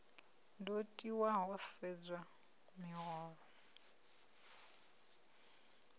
do tiwa ho sedzwa miholo